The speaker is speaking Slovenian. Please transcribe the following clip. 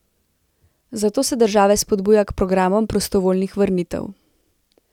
Zato se države spodbuja k programom prostovoljnih vrnitev.